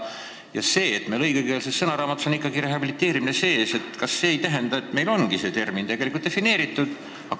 Kas see, et meil õiguskeelsussõnaraamatus on sõna "rehabiliteerimine" sees, ei tähenda, et meil on see mõiste tegelikult defineeritud?